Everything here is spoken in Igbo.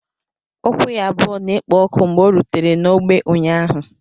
Ụkwụ ya abụọ na-ekpo ọkụ mgbe ọ rutere n'ọgbọ ụnyaahụ